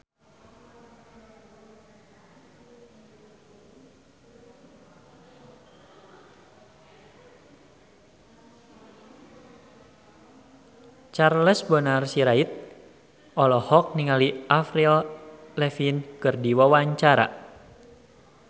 Charles Bonar Sirait olohok ningali Avril Lavigne keur diwawancara